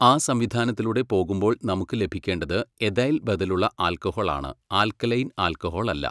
ആ സംവിധാനത്തിലൂടെ പോകുമ്പോൾ നമുക്ക് ലഭിക്കേണ്ടത് എഥൈൽ ബദലുള്ള ആൽക്കഹോൾ ആണ്, ആല്ക്കലൈൻ ആൽക്കഹോൾ അല്ല.